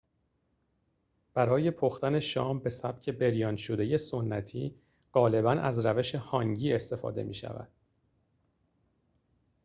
برای پختن شام به سبک بریان‌شده سنتی غالباً از روش هانگی استفاده می‌شود